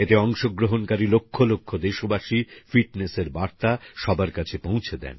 এতে অংশগ্রহণকারি লক্ষলক্ষ দেশবাসী ফিটনেসএর বার্তা সবার কাছে পৌঁছে দেন